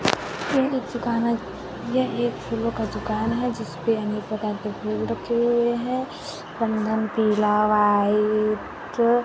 यह एक दुकान है यह एक फूलों का दुकान है जिसपे अनेक प्रकार के फूल रखे हुए है पीला वाइट --